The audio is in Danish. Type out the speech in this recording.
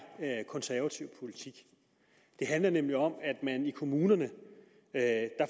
er konservativ politik det handler nemlig om at kommunerne